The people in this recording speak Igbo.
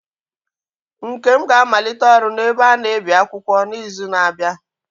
Nkem ga-amalite ọrụ n'ebe a na-ebi akwụkwọ n'izu na-abịa.